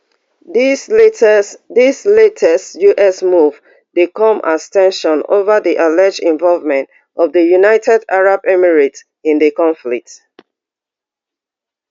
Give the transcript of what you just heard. dis latest dis latest us move dey come as ten sions over di alleged involvement of di united arab emirates in di conflict